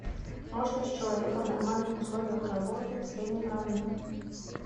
мощность человека в нормальных условиях работы в среднем равна